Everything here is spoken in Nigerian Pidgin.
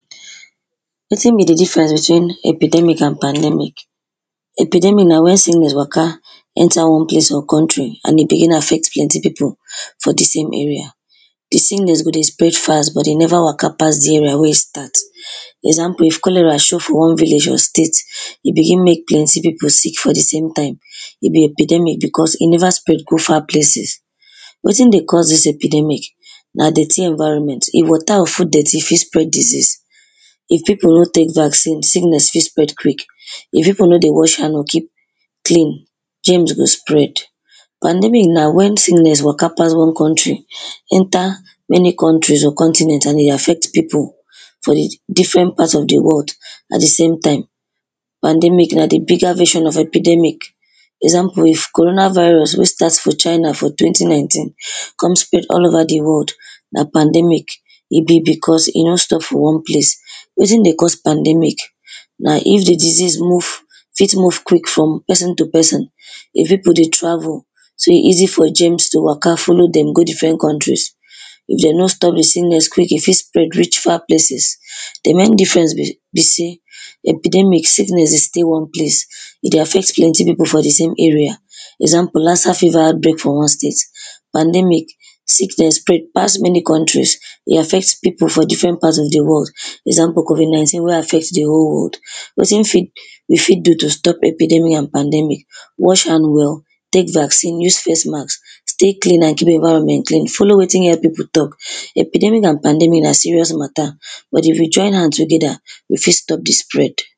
Wetin be di difference between epidemic and pandemic? epidemic na wen sickness waka enter one place or country and e dey in affect plenty people for di same area. Di sickness go dey spread fast, but e never waka pass di place wen e take start. Example is cholera show for one city or state, in begin make plenty people sick for di same time, e be epidemic because e never spread go far places. Wetin dey cause dis epidemic? Na dirty environment. If water or food dirty, e fit spread disease. If people no take vaccine, sickness fit spread quick, if people no dey wash hand or keep clean, germs go spread. Pandemic na wen sickness waka pass one country, enter many countries or continent and e dey affect people for di different parts of di world at di same time. Pandemic and di bigger version of epidemic, for example if corona virus wey start for china for twenty nineteen come spread all over di world, na pandemic. E be because e no stop for one place. Wetin dey cause pandemic? Na if di disease move, fit move quick from person to person if people dey travel, so e easy for germs to waka follow dem go different countries. If dem nor stop di sickness quick, e fit spread reach far places. Di main difference be be sey, epidemic sickness dey stay one place, e dey affect different people for di same area example, Lassa fever out break for one state. Pandemic sickness spread pass many countries. E dey affect people for different part of di world. Example, covid nineteen wey affect di whole world. Wetin fit we fit do to stop epidemic and pandemic, wash hand well, take vaccine, use face mask, stay clean and keep your environment clean, follow wetin health people talk. epidemic and pandemic na serious matter, but if we join hand together, we fit stop di spread.